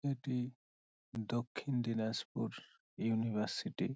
এটি দক্ষিণ দিনাজপুর ইউনিভার্সিটি |